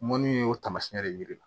Mɔnniw y'o taamasiyɛn de ye yiri la